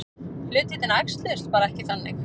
Hlutirnir æxluðust bara ekki þannig.